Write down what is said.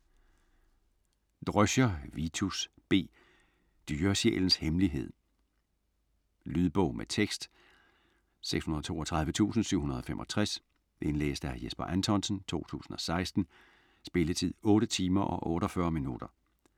Dröscher, Vitus B.: Dyresjælens hemmelighed Lydbog med tekst 632765 Indlæst af Jesper Anthonsen, 2016. Spilletid: 8 timer, 48 minutter.